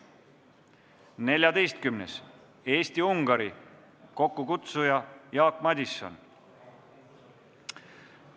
Neljateistkümnendaks, Eesti-Ungari, kokkukutsuja on Jaak Madison.